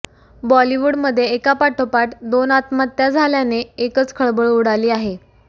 बॉलिवूडमध्ये एका पाठोपाठ दोन आत्महत्या झाल्याने एकच खळबळ उडाली आहे